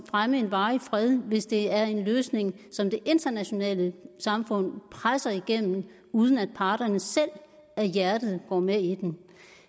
fremme en varig fred hvis det er en løsning som det internationale samfund presser igennem uden at parterne selv af hjertet går med i den